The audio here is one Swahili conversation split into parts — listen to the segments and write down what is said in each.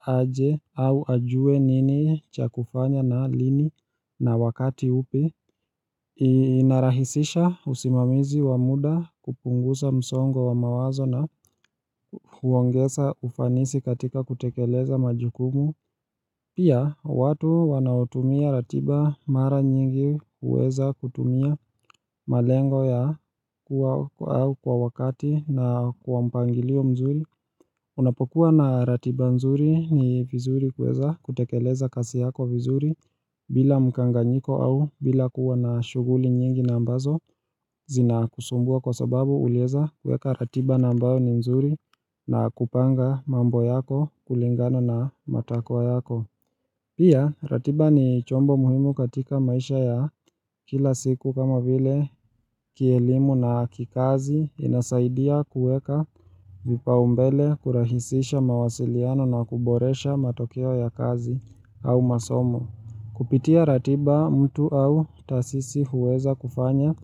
aje au ajue nini cha kufanya na lini na wakati upi. Iinarahisisha usimamizi wamuda kupungusa msongo wa mawazo na huongesa ufanisi katika kutekeleza majukumu Pia watu wanaotumia ratiba mara nyingi huweza kutumia malengo ya kuwa au kwa wakati na kuwa mpangilio mzuri Unapokuwa na ratiba nzuri ni vizuri kuweza kutekeleza kasi yako vizuri bila mkanganyiko au bila kuwa na shughuli nyingi na ambazo zina kusumbua kwa sababu ulieza kueka ratiba na ambayo ni nzuri na kupanga mambo yako kulingana na matakwa yako. Pia ratiba ni chombo muhimu katika maisha ya kila siku kama vile kielimu na kikazi inasaidia kueka vipa umbele kurahisisha mawasiliano na kuboresha matokeo ya kazi au masomo. Kupitia ratiba mtu au taasisi huweza kufanya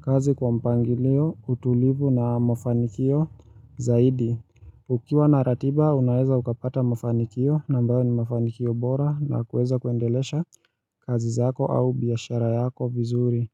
kazi kwa mpangilio utulivu na mafanikio zaidi Ukiwa na ratiba unaweza ukapata mafanikio na ambayo ni mafanikio bora na kuweza kuendelesha kazi zako au biashara yako vizuri.